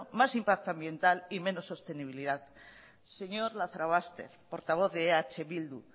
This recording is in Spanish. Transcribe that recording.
más impacto medioambiental y menos sostenibilidad señor lazarobaster portavoz de eh bildu